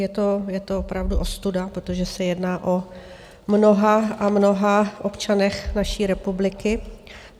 Je to opravdu ostuda, protože se jedná o mnoha a mnoha občanech naší republiky.